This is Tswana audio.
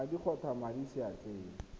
madi kgotsa madi mo seatleng